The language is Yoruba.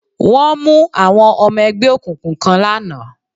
Wọ́n mú àwọn ọmọ ẹgbẹ́ òkùnkùn kan lánàá